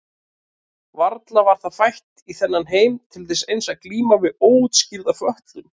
Varla var það fætt í þennan heim til þess eins að glíma við óútskýrða fötlun?